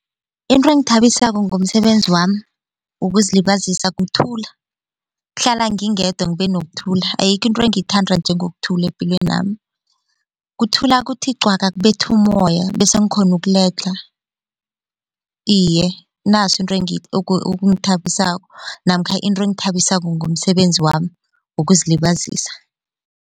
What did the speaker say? Into engithabisako ngomsebenzi wami wokuzilibazisa kuthuluka kuhlala ngingedwa ngibe nokuthula ayikho into engiyithanda njengokuthula epilwenami. Kuthula kuthi qwaka kbetha umoya bese ngikhona ukuledlha iye naso into okungithabisako namkha into engithabisako ngomsebenzi wami wokuzilibazisa.